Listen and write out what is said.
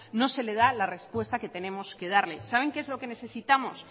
no se le da la respuesta que tenemos que darle saben que es lo que necesitamos